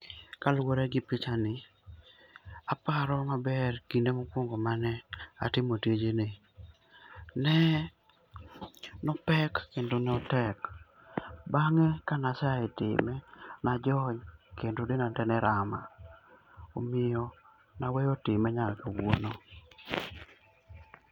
Kaluore gi pichani aparo maber kinde mokungo mane atimo tijni, ne opek kendo notek. Bange kane asea time najony kendo denda tee ne rama omiyo naweyo time nyaka kawuono